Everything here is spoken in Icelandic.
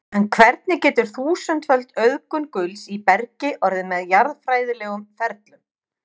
en hvernig getur þúsundföld auðgun gulls í bergi orðið með jarðfræðilegum ferlum